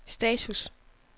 status